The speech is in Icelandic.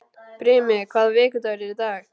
Brimi, hvaða vikudagur er í dag?